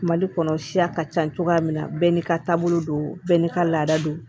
Mali kɔnɔ siya ka ca cogoya min na bɛɛ n'i ka taabolo don bɛɛ n'i ka laada don